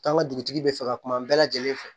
K'an ka dugutigi bɛ fɛ ka kuma bɛɛ lajɛlen fɛ